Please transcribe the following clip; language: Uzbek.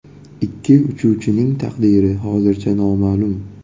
Ikkinchi uchuvchining taqdiri hozircha noma’lum.